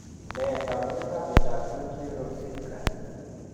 Nee taakunetaab myondap Chudley rozdilsky?